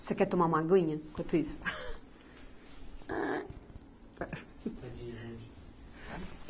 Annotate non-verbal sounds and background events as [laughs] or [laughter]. Você quer tomar uma aguinha enquanto isso? [laughs] Ah. [unintelligible]